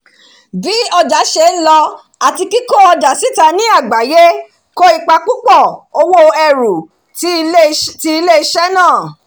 bí ọjà ṣe ń lọ àti kíkó ọjà síta ní àgbáyé kó ipa púpọ̀ òwò ẹrù ti ilé-iṣẹ́ náà